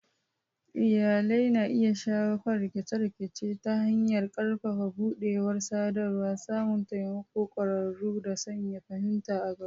Iyalai na iya shawo kan rikice-rikice ta hanyar ƙarfafa buɗewar sadarwa, samun taimakon ƙwararru, da sanya fahimta a gaba.